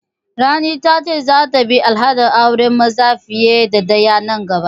Rani ta ce za ta bi al'adar auren maza fiye da ɗaya nan gaba